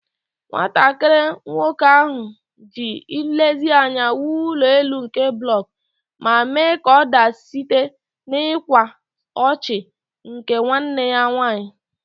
Nwatakịrị nwoke ahụ ji nlezianya wuo ụlọ elu nke blọk, ma mee ka ọ daa site n'ịkwa ọchị nke nwanne ya nwanyị.